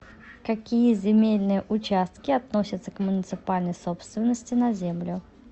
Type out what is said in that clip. какие земельные участки относятся к муниципальной собственности на землю